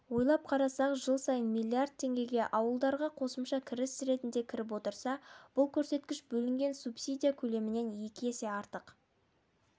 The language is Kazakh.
ойлап қарасак жыл сайын миллиард теңге ауылдарға қосымша кіріс ретінде кіріп отырса бұл көрсеткіш бөлінген субсидия көлемінен екі есеге артық